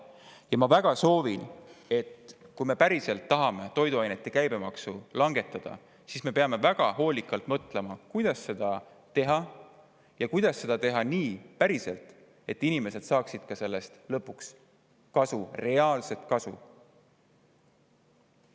Ja ma väga soovin, et kui me päriselt tahame toiduainete käibemaksu langetada, siis me peame väga hoolikalt mõtlema, kuidas seda teha: kuidas seda teha nii, et päriselt inimesed saaksid sellest lõpuks reaalset kasu.